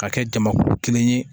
Ka kɛ jamakulu kelen ye